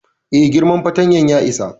E, girman fatanyan ya isa.